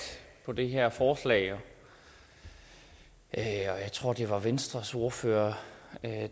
om det her forslag jeg tror det var venstres ordfører